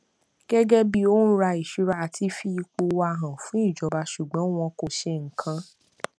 gẹgẹ bí òǹra ohun ìṣura a ti fi ipò wa hàn fún ìjọba ṣùgbọn wọn kò ṣe nǹkan